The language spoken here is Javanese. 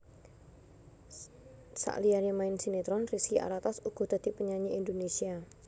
Saliyané main sinetron Rizky Alatas uga dadi penyanyi Indonesia